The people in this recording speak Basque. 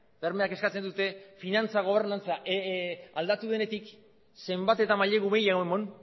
bermeak eskatzen dute finantza gobernantza aldatu denetik zenbat eta mailegu gehiago eman